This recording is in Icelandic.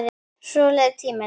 Svo leið tíminn.